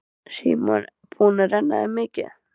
Símon: Búin að renna þér mikið?